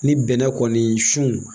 Ni bɛnɛ kɔni sun